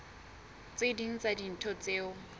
tse ding tsa dintho tseo